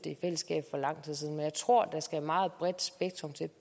i fællesskab for lang tid siden men jeg tror der skal et meget bredt spektrum til